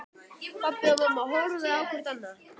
Pabbi og mamma horfðu hvort á annað.